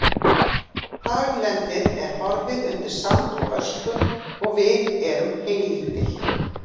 Haglendið er horfið undir sand og ösku og við erum heylítil.